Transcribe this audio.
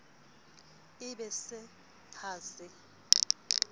e be se ha se